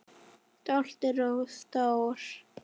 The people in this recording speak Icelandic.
Stoltur og stór.